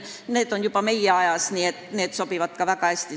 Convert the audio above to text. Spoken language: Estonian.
See on toimunud juba meie ajas, nii et tärmin sobib väga hästi.